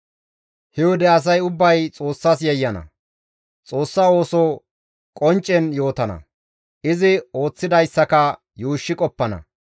He wode asay ubbay Xoossas yayyana; Xoossa ooso qonccen yootana; izi ooththidayssaka yuushshi qoppana.